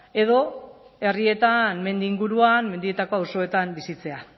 edo herrietan mendi inguruan mendietako auzoetan bizitzea